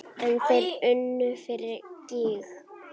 En þeir unnu fyrir gýg.